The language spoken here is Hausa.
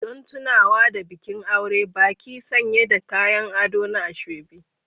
Don tunawa da bikin aure, baƙi sanye da kayan ado na asoebi.